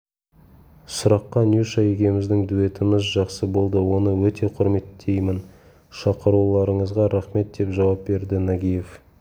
сұраққа нюша екеуміздің дуэтіміз жақсы болды оны өте құрметтеймін шақыруларыңызға рақмет деп жауап берді нагиев